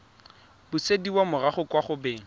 busediwa morago kwa go beng